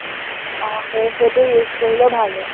আহ সেই, সেইটো use কৰিলে ভাল হয়।